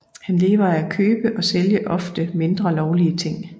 Han lever af at købe og sælge ofte mindre lovlige ting